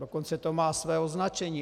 Dokonce to má své označení.